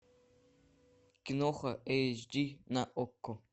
киноха эйч ди на окко